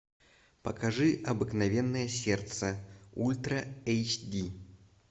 покажи обыкновенное сердце ультра эйч ди